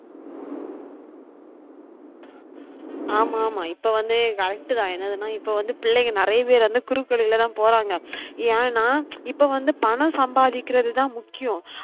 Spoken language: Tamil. ஆமா ஆமா இப்ப வந்து correct தான் என்னதுனா இப்ப வந்து பிள்ளைங்க நிறைய பேர் வந்து குறுக்கு வழிலதான் போறாங்க ஏன்னா இப்ப வந்து பணம் சம்பாதிக்குறது தான் முக்கியம்